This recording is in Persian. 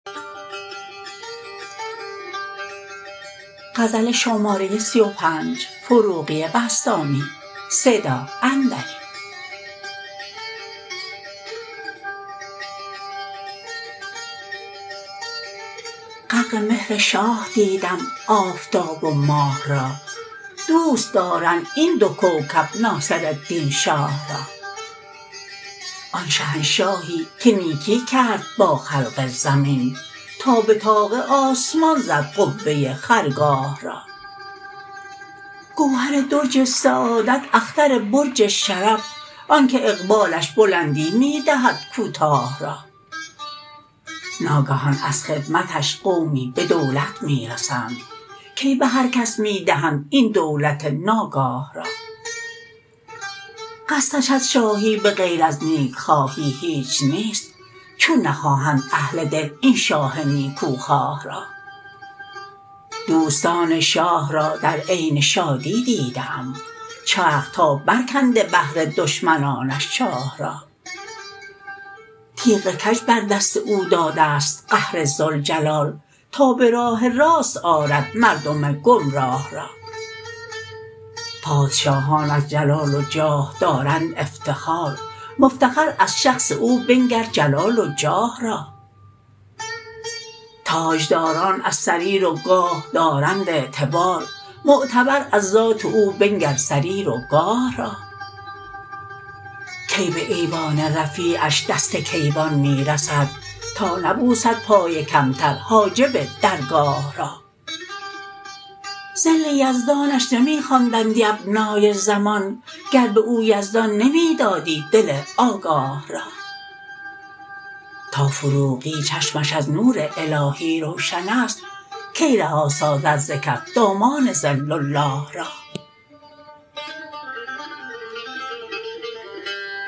غرق مهر شاه دیدم آفتاب و ماه را دوست دارند این دو کوکب ناصرالدین شاه را آن شهنشاهی که نیکی کرد با خلق زمین تا به طاق آسمان زد قبه خرگاه را گوهر درج سعادت اختر برج شرف آن که اقبالش بلندی می دهد کوتاه را ناگهان از خدمتش قومی به دولت می رسند کی به هر کس می دهند این دولت ناگاه را قصدش از شاهی به غیر از نیک خواهی هیچ نیست چون نخواهند اهل دل این شاه نیکو خواه را دوستان شاه را در عین شادی دیده ام چرخ تا برکنده بهر دشمنانش چاه را تیغ کج بر دست او داده ست قهر ذوالجلال تا به راه راست آرد مردم گمراه را پادشاهان از جلال و جاه دارند افتخار مفتخر از شخص او بنگر جلال و جاه را تاجداران از سریر و گاه دارند اعتبار معتبر از ذات او بنگر سریر و گاه را کی به ایوان رفیعش دست کیوان می رسد تا نبوسد پای کمتر حاجب درگاه را ظل یزدانش نمی خواندندی ابنای زمان گر به او یزدان نمی دادی دل آگاه را تا فروغی چشمش از نور الهی روشن است کی رها سازد ز کف دامان ظل الله را